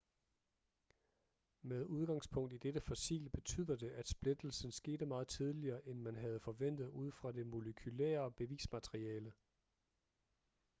med udgangspunkt i dette fossil betyder det at splittelsen skete meget tidligere end man havde forventet ud fra det molekylære bevismateriale